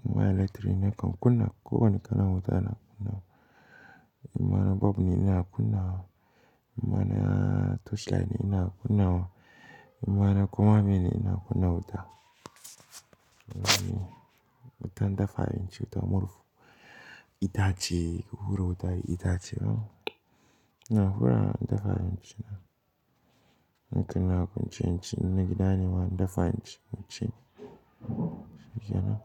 in ma electric nakan kunna. Ko wane kalan wuta na kunnawa. In ma na bolb ne ina kunna wa, in ma na torchlight ne ina kunna wa, in ma na koma meye ne ina kunna wutan. Wutan dafa abinci, wuta murhu itace, hura wuta da itace hmm, ina hurawa in dafa abinci na. Nakan yi akwance inci, in na gida ne ma in dafa inci inci, shikenan.